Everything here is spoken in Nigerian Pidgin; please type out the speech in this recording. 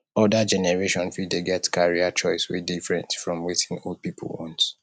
oda generation fit dey get career choice wey different from wetin old pipo want